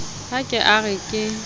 ha ke a re ke